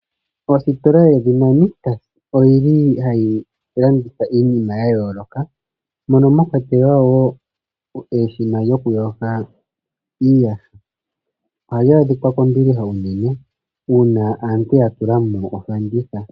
Ositola yedhina Nictus oyili hayi landitha iinima yayooloka mono mwakwatelwa wo eshina lyokuyoga iiyaha. Ohali adhika kombiliha uunene uuna aantu yatulamo ofanditha.